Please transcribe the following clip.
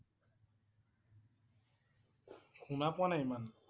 শুনা পোৱা নাই ইমান।